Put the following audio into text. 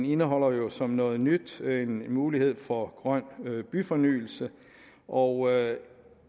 indeholder jo som noget nyt muligheden for grøn byfornyelse og